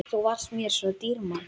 Þú varst mér svo dýrmæt.